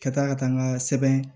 Ka taa ka taa n ka sɛbɛn